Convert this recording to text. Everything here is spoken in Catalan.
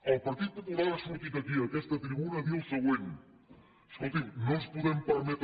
el partit popular ha sortit aquí a aquesta tribuna a dir el següent escolti’m no ens podem permetre